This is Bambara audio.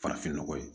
Farafin nɔgɔ ye